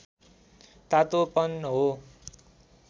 तातोपन हो